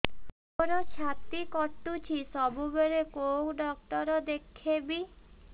ମୋର ଛାତି କଟୁଛି ସବୁବେଳେ କୋଉ ଡକ୍ଟର ଦେଖେବି